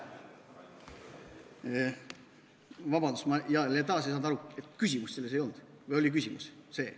Vabandust, ma taas ei saanud aru, kas küsimust ei olnud või oli see küsimus.